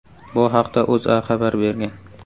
Bu haqda O‘zA xabar bergan .